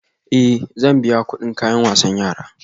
Ee, zan biya kuɗin kayan wasan yara